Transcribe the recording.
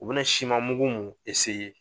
U be na siman mugu mun